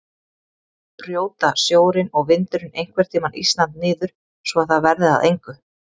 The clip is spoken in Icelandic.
Brjóta sjórinn og vindurinn einhvern tímann Ísland niður svo að það verði að engu?